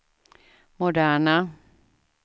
moderna